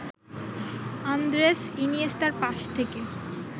Andres ইনিয়েস্তার pass থেকে